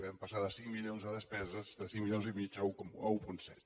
vam passar de cinc milions de despesa de cinc milions i mig a un coma set